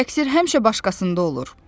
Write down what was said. Təqsir həmişə başqasında olur.